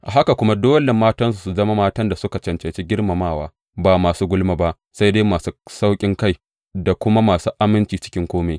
A haka kuma, dole matansu su zama matan da suka cancanci girmamawa, ba masu gulma ba, sai dai masu sauƙinkai da kuma masu aminci a cikin kome.